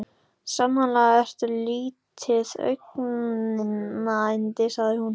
Sannarlega ertu lítið augnayndi sagði hún.